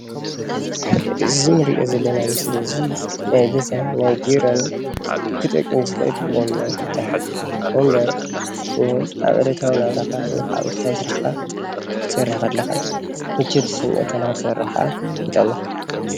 እዚ እንሪኦ ዘለና ምስሊ እዚ ናይ ገዛን ናይ ቢሮን ክጠቅም ዝክእል ወንበር ይባሃል፡፡ ወንበር ኣብ ዕለታዊ ናብራካ ወይ ከዓ ዕለታዊ ስራሕካ ክትሰርሕ ከለካ ምቸት ይስመዐካ ንክትሰርሕ ከኣ ይጠቅመካ፡፡